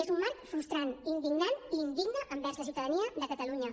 és un marc frustrant indignant i indigne envers la ciutadania de catalunya